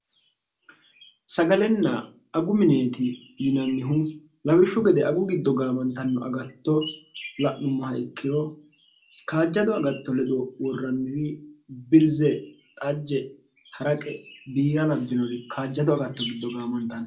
sagalenna agu mineeti yinannihu labishshu gede agu giddo gaamantanno agatto la'nummoha ikkiro kaajjado agatto ledo worranniri birze xajje ha'raqe biira labjinori kaajjado agatto giddo gaamantanno